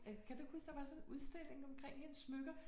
Ja, kan du ikke huske der var sådan en udstilling omkring hendes smykker